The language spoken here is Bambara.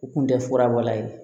U kun tɛ fura bɔla ye